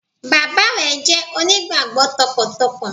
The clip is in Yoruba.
Bàbá re jẹ́ onígbàgbó tọkàntọkàn